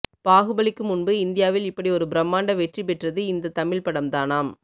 பாகுபலிக்கு முன்பு இந்தியளவில் இப்படி ஒரு பிரமாண்ட வெற்றி பெற்றது இந்த தமிழ் படம் தானாம்